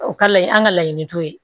O ka layi an ka laɲini t'o ye